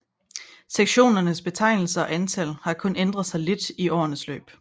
Sektionernes betegnelser og antal har kun ændret sig lidt i årenes løb